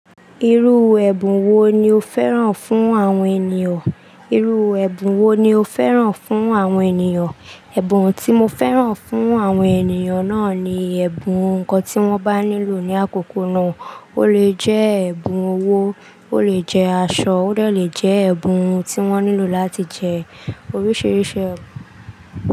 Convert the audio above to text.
Irú ẹ̀bùn wo ni o fẹ́ràn fún àwọn ènìyàn? Ẹ̀bùn tí mo fẹ́ràn fún àwọn ènìyàn náà ni ẹ̀bùn nǹkan tí wọ́n bá nílò ní àkókò náà. Ó lè jẹ́ ẹ̀bùn owó, ó lè jẹ́ aṣọ, ó dẹ̀ le jẹ́ ẹ̀bùn tí wọ́n nílò láti jẹ́. Oríṣiríṣi ẹ̀bùn.